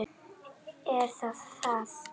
Er það það?